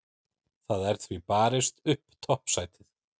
Það er því barist upp toppsætið.